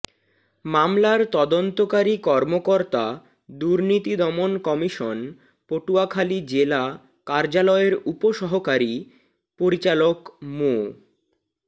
মামলার তদন্তকারী কর্মকর্তা দুর্নীতিদমন কমিশন পটুয়াখালী জেলা কার্যালয়ের উপ সহকারী পরিচালক মো